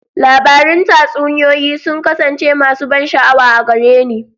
Labarun tatsuniyoyi sun kasance masu ban sha'awa a gare ni.